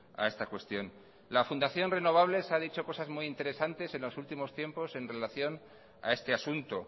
a esta cuestión la fundación renovables se ha dicho cosas muy interesantes en los últimos tiempos en relación a este asunto